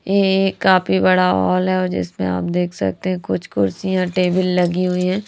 यह एक काफी बड़ा हॉल है और जिसमें आप देख सकते हैं कुछ कुर्सियाँ टेबल लगी हुई हैं।